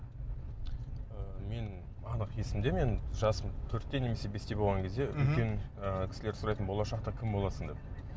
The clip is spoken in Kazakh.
ыыы мен анық есімде менің жасым төртте немесе бесте болған кезде үлкен ы кісілер сұрайтын болашақта кім боласың деп